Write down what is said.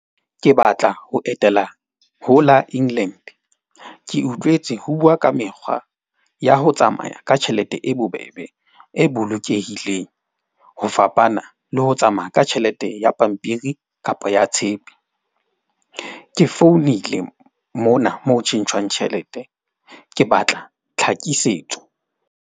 Ke batla ho etela ho la England. Ke utlwetse ho bua ka mekgwa ya ho tsamaya ka tjhelete e bobebe, e bolokehileng ho fapana le ho tsamaya ka tjhelete ya pampiri kapa ya tshepe. Ke founile mona mo tjhentjhwang tjhelete. Ke batla tlhakisetso.